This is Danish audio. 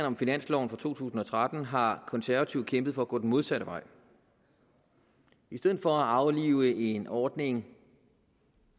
om finansloven for to tusind og tretten har konservative kæmpet for at gå den modsatte vej i stedet for at aflive en ordning